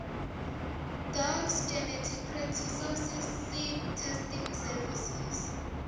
docs geneticresources seedtestingservices